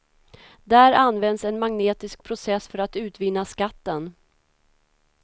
Där används en magnetisk process för att utvinna skatten.